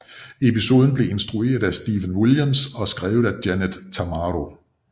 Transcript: Episoden blev instrueret af Stephen Williams og skrevet af Janet Tamaro